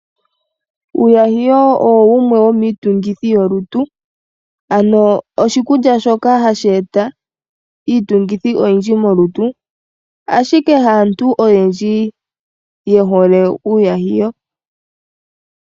Uuyahiyo owo wumwe womiitungithi yolutu ano oshikulya shoka hashi eta iitungithi oyindji molutu, ashike haantu ayendji yehole uuyahiyo.